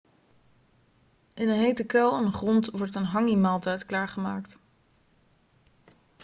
in een hete kuil in de grond wordt een hangi-maaltijd klaargemaakt